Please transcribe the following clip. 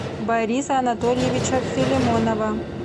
бориса анатольевича филимонова